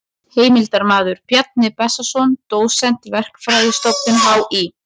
Heimildarmaður: Bjarni Bessason dósent, Verkfræðistofnun HÍ.